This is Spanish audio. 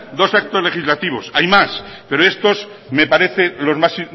dos actos legislativos hay más pero estos me parecen los más